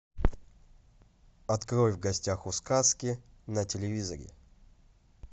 открой в гостях у сказки на телевизоре